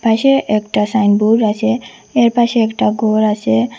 পাশে একটা সাইনবোর্ড আছে এর পাশে একটা গর আছে।